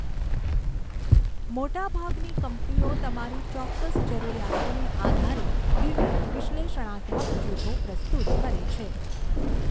મોટાભાગની કંપનીઓ તમારી ચોક્કસ જરૂરિયાતોને આધારે વિવિધ વિશ્લેષણાત્મક જૂથો પ્રસ્તુત કરે છે.